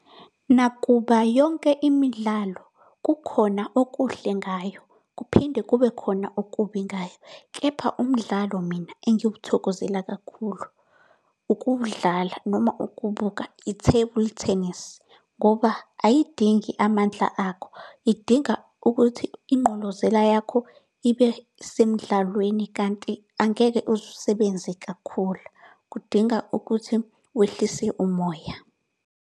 Nakuba yonke imidlalo, kukhona okuhle ngayo, kuphinde kube khona okubi ngayo. Kepha umdlalo mina engiwuthokozela kakhulu ukuwudlala noma ukubuka i-table tennis, ngoba ayidingi amandla akho, idinga ukuthi ingqolozela yakho ibe semdlalweni kanti angeke uze usebenze kakhulu. Kudinga ukuthi wehlise umoya.